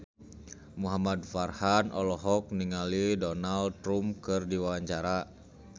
Muhamad Farhan olohok ningali Donald Trump keur diwawancara